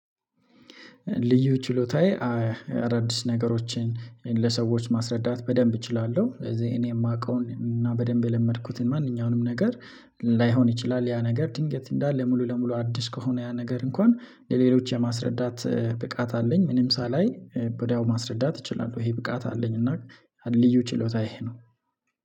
ልዩ ችሎታዬ አደዲስ ነገሮችን ለሰዎች ማስረዳት በደንብ እችላለሁ እዚህ እኔ የማውቀውን እና በደንብ የለመድኩትን ማንኛውንም ነገር ላይሆን ይችላል። ያ ነገር ድንገት እንዳለ ሙሉ ለሙሉ አድስ ከሆነ ያ ነገር እንኳን ለሌሎች የማስረዳት ብቃት አለኝ ምንም ሳላይ ወድያው ማስረዳት እችላለሁ ይሄ ብቃት አለኝ። እና ልዩ ችሎታዬ ይሄ ነው።